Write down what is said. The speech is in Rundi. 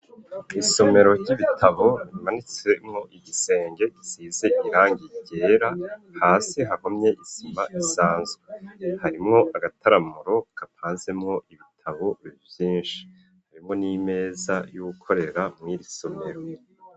Isomero ry'ibitabo rimanitsemo igisenge gisize irangi ryera hasi hahomye izima ivanze, harimwo agataramuro kapazemwo ibitabo vyinshi harimwo n'imeza yuwukorera mwirisomero.